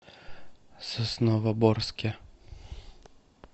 сосновоборске